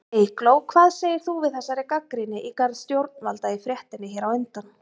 Eygló, hvað segir þú við þessari gagnrýni í garð stjórnvalda í fréttinni hér á undan?